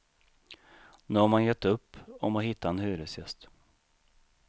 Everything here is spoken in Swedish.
Nu har man gett upp om att hitta en hyresgäst.